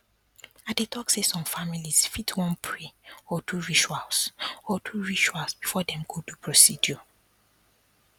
i dey talk say some families fit wan pray or do rituals or do rituals before dem go do procedure